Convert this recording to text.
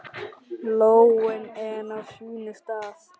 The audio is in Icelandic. Lóin enn á sínum stað.